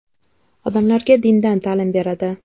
Odamlarga dindan ta’lim beradi.